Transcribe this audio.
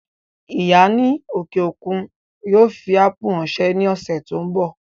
Ìyá ní òkè òkun yóò fi ápù ráńṣẹ́ ní ọ̀sẹ̀ tó ń bọ̀